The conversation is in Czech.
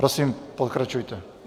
Prosím, pokračujte.